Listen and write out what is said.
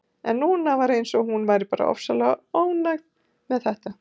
En núna var eins og hún væri bara ofsalega ánægð með þetta.